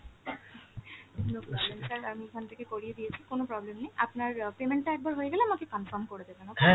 no problem sir আমি এখান থেকে করিয়ে দিয়েছি, কোন problem নেই, আপনার payment টা একবার হয়ে গেলে আমাকে confirm করে দেবেন okay ।